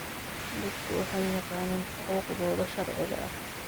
Dadku waxay yaqaaniin xuquuqdooda sharciga ah.